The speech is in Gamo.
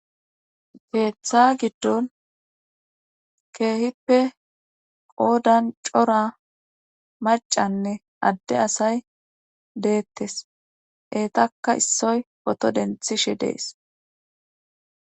Keeththa giddon keehippe qoodan cora macanne adde asay deettes eetaka issoy poto denthishe dees.